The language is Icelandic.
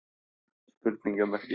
Fregn, er opið í Samkaup Strax?